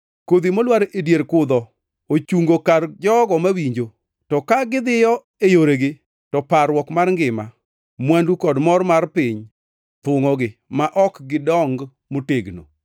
Kodhi molwar e dier kudho ochungo kar jogo mawinjo, to ka gidhiyo e yoregi, to parruok mar ngima, mwandu kod mor mar piny thungʼogi, ma ok gidong motegno.